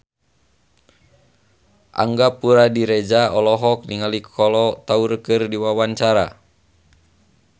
Angga Puradiredja olohok ningali Kolo Taure keur diwawancara